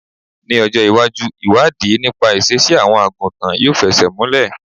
Ní ọjọ́ ìwájú, ìwádìí nípa ìṣesí àwọn àgùntàn yóò fẹsẹ̀ múlè.